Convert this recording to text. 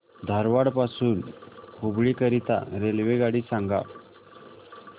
धारवाड पासून हुबळी करीता रेल्वेगाडी सांगा